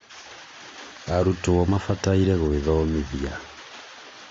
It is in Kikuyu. arutwo mabataire gwĩthomithia